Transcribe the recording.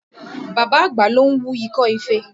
Bàbá àgbà ló ń wú ikọ́ ife